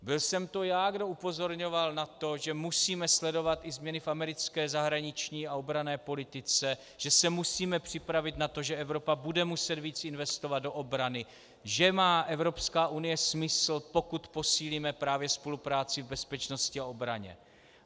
Byl jsem to já, kdo upozorňoval na to, že musíme sledovat i změny v americké zahraniční a obranné politice, že se musíme připravit na to, že Evropa bude muset víc investovat do obrany, že má Evropská unie smysl, pokud posílíme právě spolupráci v bezpečnosti a obraně.